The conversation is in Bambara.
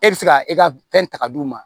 E bɛ se ka e ka fɛn ta k'a d'u ma